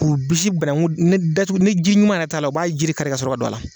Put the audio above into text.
K'u bisi banakun, ni datugu, ni jiri ɲuman yɛrɛ t'a la, u b'a jiri kari ka sɔrɔ ka don a la.